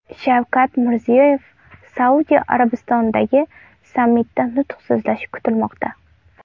Shavkat Mirziyoyev Saudiya Arabistonidagi sammitda nutq so‘zlashi kutilmoqda.